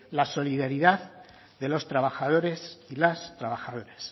la solidaridad de los trabajadores y las trabajadoras